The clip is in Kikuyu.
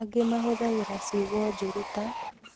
angĩ mahũthagĩra ciugo njũru ta: